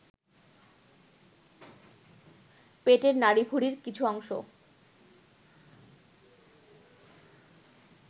পেটের নাড়ীভূড়ির কিছু অংশ